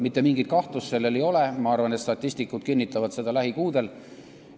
Mitte mingit kahtlust siin ei ole, ma arvan, et statistikud kinnitavad seda lähikuudel.